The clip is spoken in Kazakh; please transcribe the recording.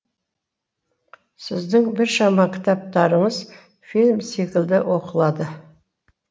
сіздің біршама кітаптарыңыз фильм секілді оқылады